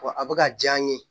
a bɛ ka diya n ye